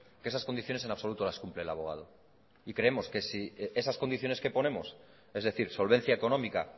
que esas condiciones en absoluto las cumple el abogado y creemos que si esas condiciones que ponemos es decir solvencia económica